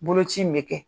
Boloci in bɛ kɛ